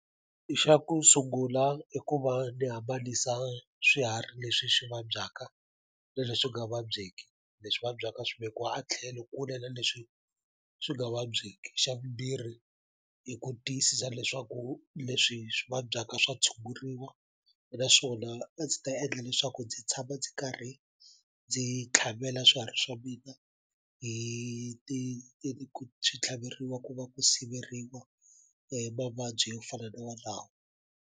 I xa ku sungula i ku va ni hambanisa swiharhi leswi swi vabyaka na leswi nga vabyeki leswi vabyaka swivekiwa a tlhelo kule na leswi swi nga vabyeki xa vumbirhi i ku tiyisisa leswaku leswi swi vabyaka swa tshunguriwa naswona a ndzi ta endla leswaku ndzi tshama ndzi karhi ndzi tlhavela swiharhi swa mina hi ti swi tlhaveriwa ku va ku siveriwa mavabyi yo fana na walawo.